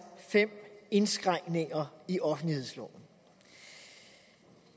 fem indskrænkninger i offentlighedsloven